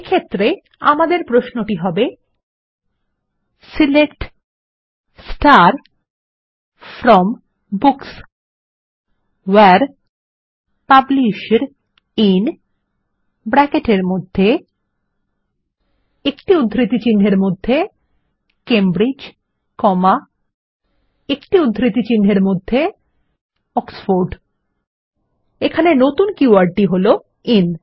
এক্ষেত্রে আমাদের প্রশ্নটি হবে select from books where publisher IN Cambridge Oxford এখানে নতুন কী ওয়ার্ডটি হল আইএন